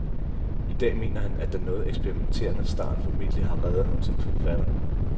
I dag mener han, at den noget eksperimenterende start formentlig har reddet ham som forfatter.